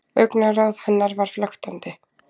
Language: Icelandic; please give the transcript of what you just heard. Augnaráð hennar var flöktandi.